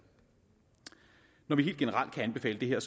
når vi helt generelt kan anbefale det her